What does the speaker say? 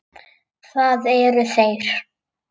Það eru þeir.